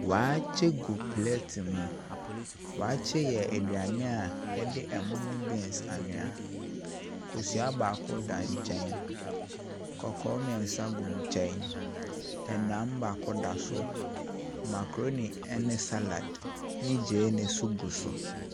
Waakye gu plɛte mu. Waakye yɛ aduane a wɔde ɛmo ne beans anoa. Kosua baako da nkyɛn, kɔkɔɔ mmeɛnsa gu nkyɛn, nam baako da so, macaroni ne salad ne gyeene nso gu so.